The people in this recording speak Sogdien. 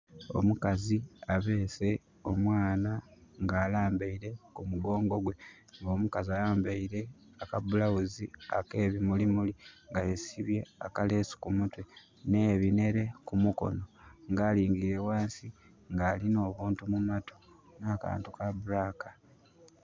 Omukazi abese omwana nga alambaire kumugongo gwe nga omukazi ayambeire akabulawuzi akebimulimuli nga yesibye akalesu ku mutwe nhe binhere ku mukono nga alingirire wansi nga alina obuntu mumatu na kantu ka black